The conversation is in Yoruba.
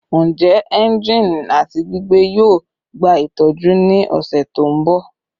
Njẹ engine ati gbigbe yoo gba itọju ni ọsẹ to nbọ?